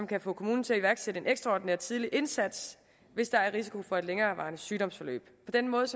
kan få kommunen til at iværksætte en ekstraordinær tidlig indsats hvis der er risiko for et længerevarende sygdomsforløb på den måde